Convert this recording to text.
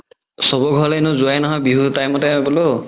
চবৰ ঘৰলৈনো যোৱাই নহয় বিহুৰ time তে বোলো